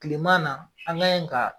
Kileman na an ka ɲe kan.